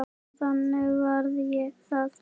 Og þannig varð það.